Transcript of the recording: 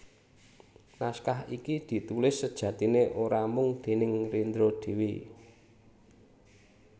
Naskah iki ditulis sejatiné ora mung déning Rendra dhéwé